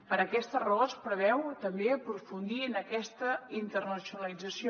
per aquesta raó es preveu també aprofundir en aquesta internacionalització